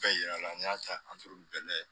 Bɛɛ yira la n'i y'a ta bɛɛ lajɛ